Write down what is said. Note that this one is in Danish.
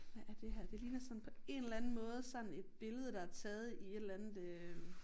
Hvad er det her det ligner sådan på en eller anden måde sådan et billede der er taget i et eller andet øh